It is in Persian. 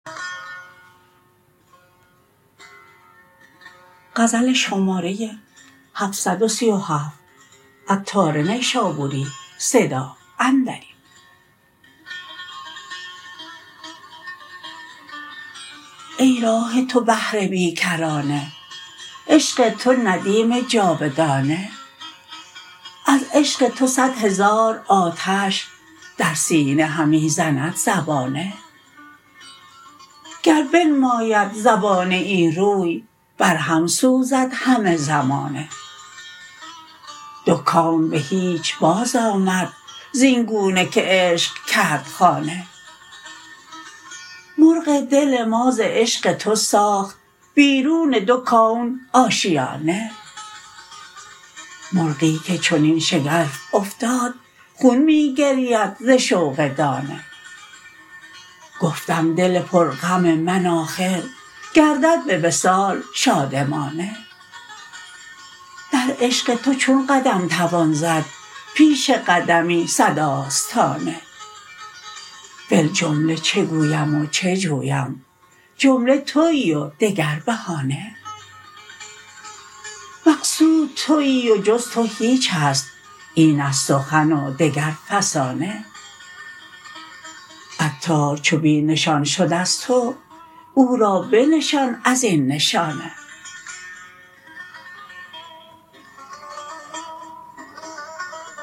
ای راه تو بحر بی کرانه عشق تو ندیم جاودانه از عشق تو صد هزار آتش در سینه همی زند زبانه گر بنماید زبانه ای روی برهم سوزد همه زمانه دو کون به هیچ باز آمد زین گونه که عشق کرد خانه مرغ دل ما ز عشق تو ساخت بیرون دو کون آشیانه مرغی که چنین شگرف افتاد خون می گرید ز شوق دانه گفتم دل پر غم من آخر گردد به وصال شادمانه در عشق تو چون قدم توان زد پیش قدمی صد آستانه فی الجمله چه گویم و چه جویم جمله تویی و دگر بهانه مقصود تویی و جز تو هیچ است این است سخن دگر فسانه عطار چو بی نشان شد از تو او را بنشان ازین نشانه